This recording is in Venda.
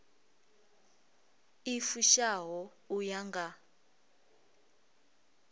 i fushaho u ya nga